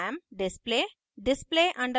display display _ exam